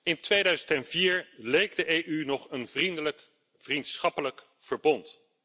In 2004 leek de EU nog een vriendelijk, vriendschappelijk verbond.